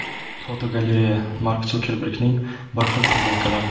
Fotogalereya: Mark Sukerbergning bir xil futbolkalari.